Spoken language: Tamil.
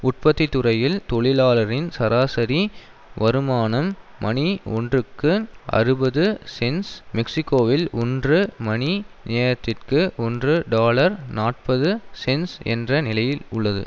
உற்பத்தி துறையில் தொழிலாளரின் சராசரி வருமானம் மணி ஒன்றுக்கு அறுபது சென்ட்ஸ் மெக்சிகோவில் ஒன்று மணி நேரத்திற்கு ஒன்று டாலர் நாற்பது சென்ட்ஸ் என்ற நிலையில் உள்ளது